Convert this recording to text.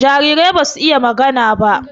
Jarirai basu iya magana ba